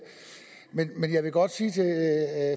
jeg vil godt sige til